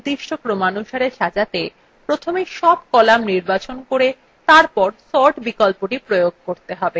একাধিক কলাম নির্দিষ্ট ক্রমানুসারে সাজাতে প্রথমে সব কলাম নির্বাচন করে তারপর sort বিকল্পটি প্রয়োগ করতে হবে